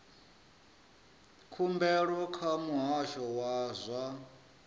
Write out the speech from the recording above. khumbelo kha muhasho wa zwa